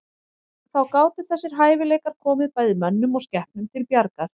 Þá gátu þessir hæfileikar komið bæði mönnum og skepnum til bjargar.